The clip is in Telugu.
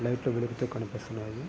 లైటు లు వెలుగుతు కనిపిస్తున్నాయి.